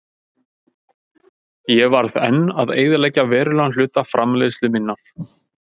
Ég varð enn að eyðileggja verulegan hluta framleiðslu minnar.